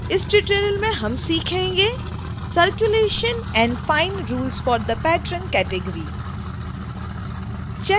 इस tutorial में हम सीखेंगेcirculation and fine rules for the patron category